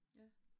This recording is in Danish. Ja